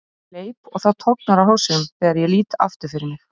Ég hleyp og það tognar á hálsinum þegar ég lít aftur fyrir mig.